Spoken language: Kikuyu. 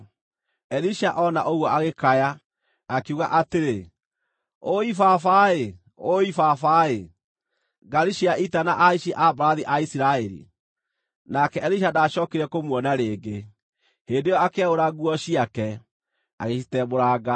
Elisha ona ũguo agĩkaya, akiuga atĩrĩ, “Ũũi baba-ĩ! Ũũi baba-ĩ! Ngaari cia ita na ahaici a mbarathi a Isiraeli!” Nake Elisha ndaacookire kũmuona rĩngĩ. Hĩndĩ ĩyo akĩaũra nguo ciake, agĩcitembũranga.